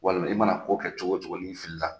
Walima i mana ko kɛ cogo o cogo n'i fili la